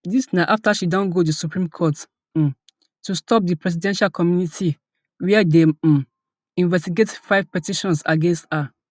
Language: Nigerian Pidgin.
dis na afta she don go di supreme court um to stop di presidential committee wia dey um investigate five petitions against her